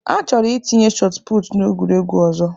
Ha chọrọ itinye shotụputụ n'egwuregwu ọzọ.